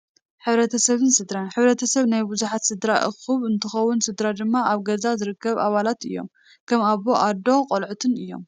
ሕ/ሰብን ስድራን፡- ሕ/ሰብ ናይ ብዙሓት ስድራ እኩብ እንትኸውን ስድራ ድማ ኣብ ገዛ ዝርከቡ ኣባላት እዮም፡፡ ከም ኣቦ፣ ኣዶን ቆለዑትን እዮም፡፡